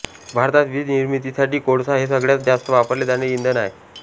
भारतात वीज निर्मितीसाठी कोळसा हे सगळ्यात जास्त वापरले जाणारे इंधन आहे